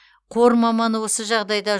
қор маманы осы жағдайда